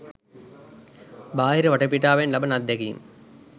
භාහිර වටපිටාවෙන් ලබන අද්දැකීම්